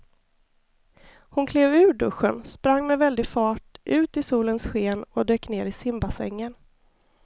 Hon klev ur duschen, sprang med väldig fart ut i solens sken och dök ner i simbassängen.